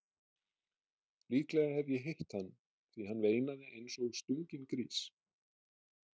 Líklega hef ég hitt hann því hann veinaði eins og stunginn grís.